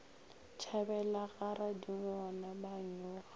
tšhabela ga radingwana ba nyoga